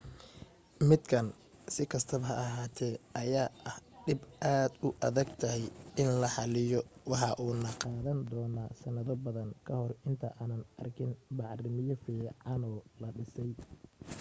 midkan si kastaba ha ahaate ayaa ah dhib aad ay u adag tahay in la xaliyo waxa uuna qaadan doona sanado badan kahor inta aanan arkin bacriimiye fiicano la dhisay